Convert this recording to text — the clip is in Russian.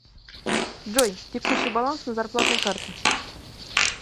джой текущий баланс на зарплатной карте